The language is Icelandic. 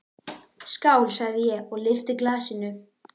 Skál, sagði ég og lyfti glasinu.